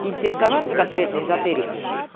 интересоваться конкретно эзотерикой